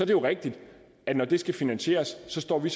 jo rigtigt at når det skal finansieres står vi